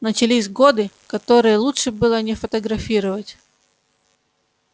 начались годы которые лучше было не фотографировать